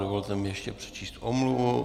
Dovolte mi ještě přečíst omluvu.